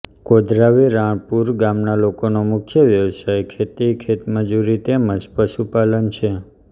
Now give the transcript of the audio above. કોદરાવી રાણપુર ગામના લોકોનો મુખ્ય વ્યવસાય ખેતી ખેતમજૂરી તેમ જ પશુપાલન છે